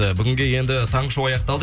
і бүгінге енді таңғы шоу аяқталды